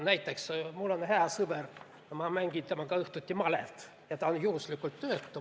Näiteks mul on hea sõber, ma mängin temaga õhtuti malet ja ta on juhuslikult töötu.